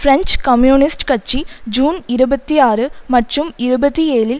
French communist கட்சி June இருபத்தி ஆறு மற்றும் இருபத்தி ஏழில்